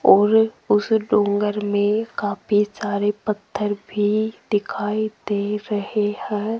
और उस डोंगर में काफी सारे पत्थर भी दिखाई दे रहे हैं।